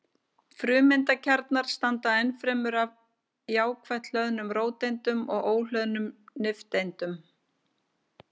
Frumeindakjarnar samanstanda ennfremur af jákvætt hlöðnum róteindum og óhlöðnum nifteindum.